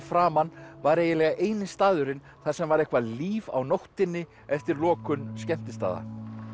framan var eiginlega eini staðurinn þar sem var eitthvað líf á nóttunni eftir lokun skemmtistaða